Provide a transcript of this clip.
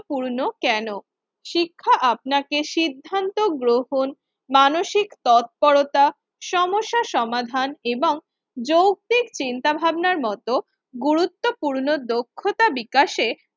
পূর্ণ কেন? শিক্ষা আপনাকে সিদ্ধান্ত গ্রহণ, মানসিক তৎপরতা, সমস্যা সমাধান এবং যৌক্তিক চিন্তাভাবনার মতো গুরুত্বপূর্ণ দক্ষতা বিকাশে